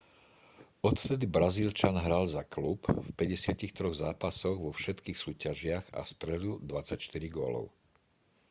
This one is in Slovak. odvtedy brazílčan hral za klub v 53 zápasoch vo všetkých súťažiach a strelil 24 gólov